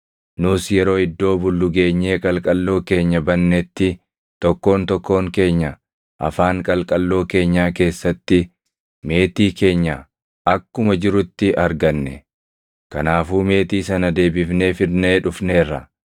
Nus yeroo iddoo bullu geenyee qalqalloo keenya bannetti tokkoon tokkoon keenya afaan qalqalloo keenyaa keessatti meetii keenya akkuma jirutti arganne. Kanaafuu meetii sana deebifnee fidnee dhufneerra.